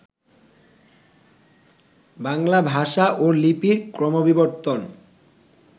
বাংলা ভাষা ও লিপির ক্রমবিবর্তন